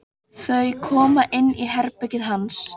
Þau koma inn í herbergið hans.